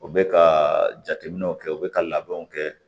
U bɛ ka jateminɛw kɛ u bɛ ka labɛnw kɛ